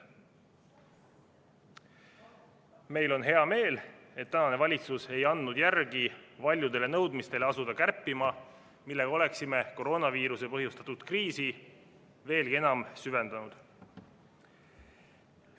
Meil on hea meel, et tänane valitsus ei andnud järele paljudele nõudmistele asuda kärpima, millega oleksime koroonaviiruse põhjustatud kriisi veelgi enam süvendanud.